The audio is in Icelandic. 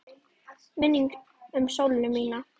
Minning um Sollu mína.